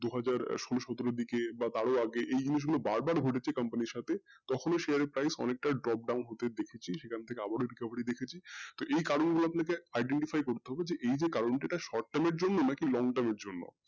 দু হাজার সোলো সতেরো দিকে বা এরও আগে এই জিনিস গুলো বার বার ঘটেছে company এর সাথে থকন share price অনেকটা drop down হতে দেখেছি আবারো সেখান থেকে recovery হতে দেখেছি যেই কারন গুলো আপনাকে identify করতে হবে যে কারণ টা যদি short term এর জন্যনা long term এর জন্য